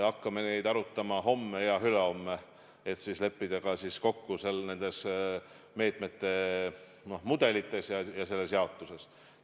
Hakkame neid arutama homme ja ülehomme, et leppida kokku nende meetmete mudelites ja selles jaotuses.